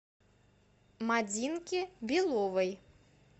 мадинке беловой